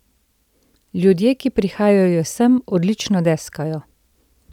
Ljudje, ki prihajajo sem, odlično deskajo.